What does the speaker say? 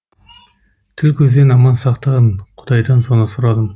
тіл көзден аман сақтағын құдайдан соны сұрадым